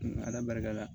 Ala barika la